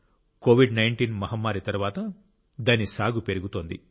కోవిడ్19 మహమ్మారి తరువాత దాని సాగు పెరుగుతోంది